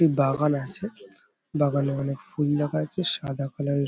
বাগান আছে। বাগানে অনেক ফুল দেখা যাচ্ছে সাদা কালার -এর।